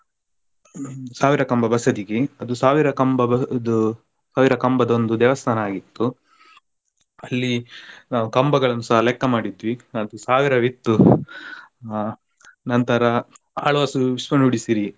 ಸಾವಿರ ಕಂಬ ಬಸದಿಗೆ ಅದು ಸಾವಿರ ಕಂಬದು ಸಾವಿರ ಕಂಬದ ಒಂದು ದೇವಸ್ಥಾನ ಆಗಿತ್ತು ಅಲ್ಲಿ ನಾವು ಕಂಬಗಳನ್ನುಸ ಲೆಕ್ಕ ಮಾಡಿದ್ವಿ ಅದು ಸಾವಿರವಿತ್ತು ಆ ನಂತರ ಆಳ್ವಾಸ್ ವಿಶ್ವ ನುಡಿಸಿರಿ.